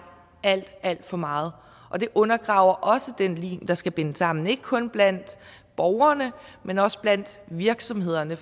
alt alt for meget og det undergraver også den lim der skal binde os sammen ikke kun blandt borgerne men også blandt virksomhederne